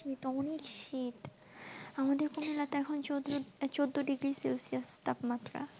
শীত আমাদের এখানে তো এখন চৌদ্দচৌদ্দ ডিগ্রী সেলসিয়াস তাপমাত্রা।